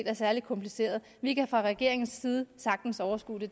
er særlig kompliceret vi kan fra regeringens side sagtens overskue det